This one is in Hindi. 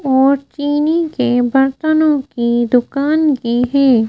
और चीनी के बर्तनों की दुकान भी है।